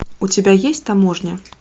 у тебя есть таможня